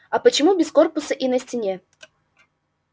а почему без корпуса и на стене